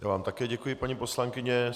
Já vám také děkuji, paní poslankyně.